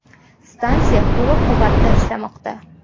Stansiya to‘liq quvvatda ishlamoqda.